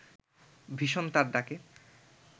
ভীষণ তার ডাকে